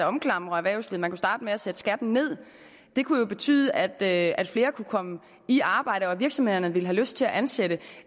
omklamrer erhvervslivet man kunne starte med at sætte skatten nederst det kunne jo betyde at at flere kunne komme i arbejde og at virksomhederne ville have lyst til at ansætte